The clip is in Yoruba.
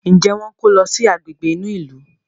Njé wón kò ló sì Àgbègbè inú ilu?